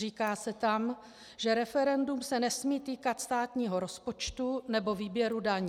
Říká se tam, že referendum se nesmí týkat státního rozpočtu nebo výběru daní.